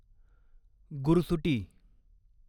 गुरसुटी